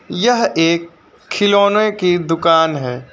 यह एक खिलौने की दुकान है।